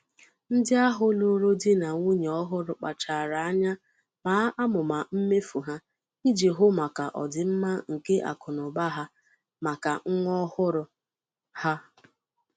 ndị ahụ lụrụ di na nwunye ọhụrụ kpachara anya maa amụma mmefu ha iji hụ maka ọdịmma nke akụnaụba ha maka nwa ọhụrụ ha.